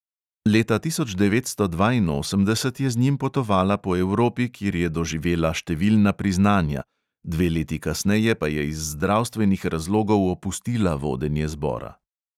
Leta tisoč devetsto dvainosemdeset je z njim potovala po evropi, kjer je doživela številna priznanja, dve leti kasneje pa je iz zdravstvenih razlogov opustila vodenje zbora.